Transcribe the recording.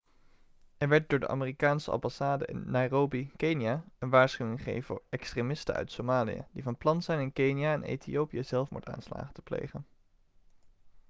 er werd door de amerikaanse ambassade in nairobi kenia een waarschuwing gegeven voor extremisten uit somalië' die van plan zijn in kenia en ethiopië zelfmoordaanslagen te plegen